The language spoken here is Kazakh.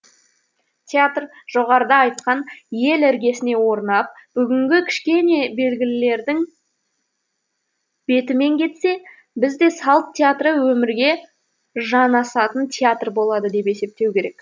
театр жоғарыда айтқан ел іргесіне орнап бүгінгі кішкене белгілерінің бетімен кетсе біз де салт театры өмірге жанасатын театр болады деп есептеу керек